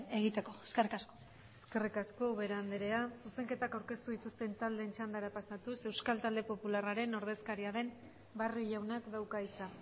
egiteko eskerrik asko eskerrik asko ubera andrea zuzenketak aurkeztu dituzten taldeen txandara pasatuz euskal talde popularraren ordezkaria den barrio jaunak dauka hitza